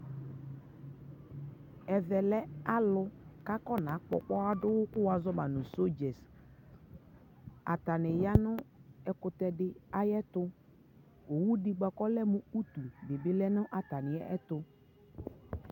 ɛvɛ lɛ alʋ kʋ aƒɔna kpɔ ɔkpɔa dʋ wʋ kɛ azu ama nʋ soldiers, atani yanʋ ɛkʋtɛ di ayɛtʋ, ɔwʋ dibi kʋ ɔlɛ mʋ ʋtʋ lɛnʋ atami ɛtʋ